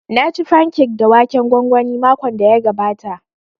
Na ci fankek da waken gwangwani makon da ya gabata